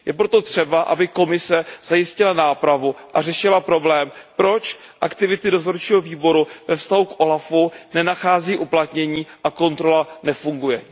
Je proto třeba, aby Komise zajistila nápravu a řešila problém, proč aktivity dozorčího výboru ve vztahu k úřadu OLAF nenachází uplatnění a kontrola nefunguje.